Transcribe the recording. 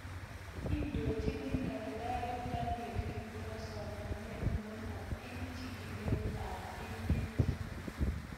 Indochini daktari Daniel Kiptoo somanet notok eng' chigilet ab emet